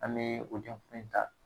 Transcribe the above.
An bee o ɲɛ dɔ in ta